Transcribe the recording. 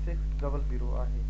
گهڻي تيز آهي